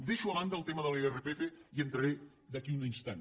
deixo a banda el tema de l’irpf hi entraré d’aquí a un instant